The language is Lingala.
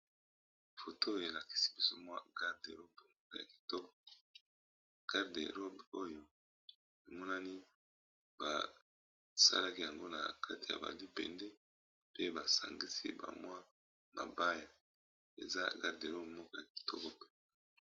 Foto oyo elakisi biso mwa garde robe ya kitoko garde robe oyo emonani basalaki yango na kati ya ba libende pe basangisi ba mwa mabaya eza garde robe moko ya kitoko boye.